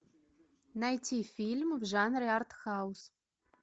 найти фильм в жанре артхаус